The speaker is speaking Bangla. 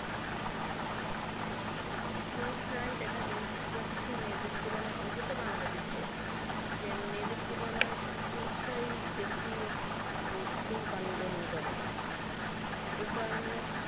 পুরুষরাই দেখা যাচ্ছে মেয়েদের তুলনা অন্তত Bangladesh যে মেয়েদের তুলনায় পুরুষরা বেশি ধূমপান গ্রহণ করে। এই কারণে